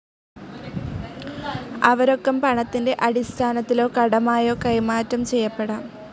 അവ രൊക്കം പണത്തിൻ്റെ അടിസ്ഥാനത്തിലോ കടമായോ കൈമാറ്റം ചെയ്യപ്പെടാം.